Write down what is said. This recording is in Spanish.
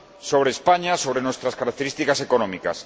sobre España, sobre nuestras características económicas.